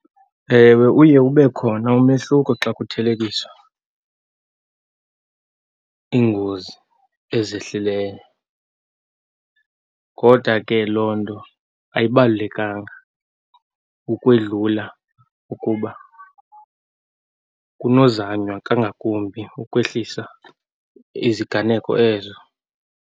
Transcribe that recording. Ewe, uye ube khona umehluko xa kuthelekiswa iingozi ezehlileyo. Lodwa ke loo nto ayibalulekanga ukwedlula ukuba kunozanywa kangakumbi ukwehlisa iziganeko ezo.